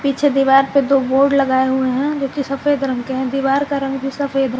पीछे दीवार पे दो बोर्ड लगाए हुए हैं जो कि सफेद रंग के हैं दीवार का रंग भी सफेद है।